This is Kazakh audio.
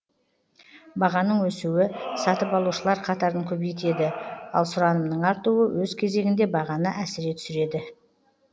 бағаның өсуі сатып алушылар қатарын көбейтеді ал сұранымның артуы өз кезегінде бағаны әсіре түсіреді